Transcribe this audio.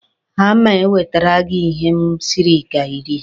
A ma-ewetere gị ihe m siri ka Ị rie.